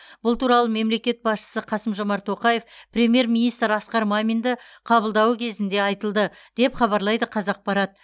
бұл туралы мемлекет басшысы қасым жомарт тоқаев премьер министр асқар маминді қабылдауы кезінде айтылды деп хабарлайды қазақпарат